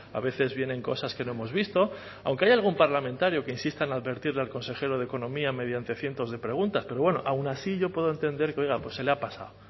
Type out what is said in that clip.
a veces vienen cosas que no hemos visto aunque hay algún parlamentario que insista en advertirle al consejero de economía mediante cientos de preguntas pero bueno aun así yo puedo entender que oiga pues se le ha pasado